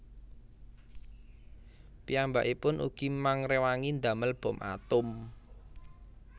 Piyambakipun ugi mangréwangi ndamel bom atom